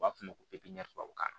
U b'a fɔ o ma ko tubabukan na